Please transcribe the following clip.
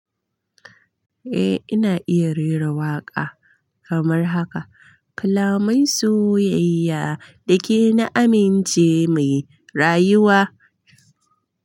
Eh, ina iya rera waƙa kamar haka. Kalamai soyayya da ke na amince muyi rayuwa.